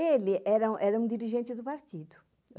Ele era era um dirigente do partido.